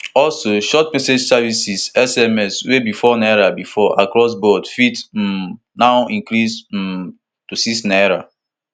also short message services sms wey be four naira bifor across board fit um now increase um to six naira